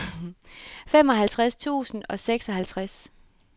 femoghalvtreds tusind og seksoghalvtreds